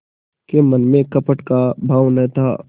के मन में कपट का भाव न था